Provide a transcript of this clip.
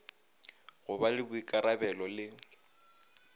go ba le boikarabelo le